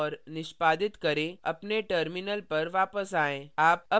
अब कंपाइल और निष्पादित करें अपने terminal पर वापस आएँ